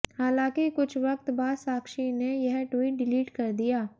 हालांकि कुछ वक्त बाद साक्षी ने यह ट्वीट डिलीट कर दिया